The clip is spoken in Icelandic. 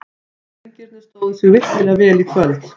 Drengirnir stóðu sig virkilega vel í kvöld.